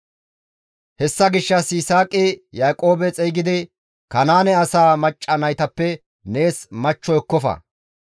Hessa gishshas Yisaaqi Yaaqoobe xeygidi, «Kanaane asaa macca naytappe nees machcho ekkofa.